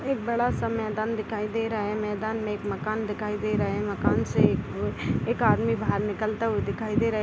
एक बड़ा सा मैदान दिखाई दे रहा है | मैदान मे एक मकान दिखाई दे रहा है | मकान से एक अ अ एक आदमी बाहर निकलता हुआ दिखाई दे रहा है|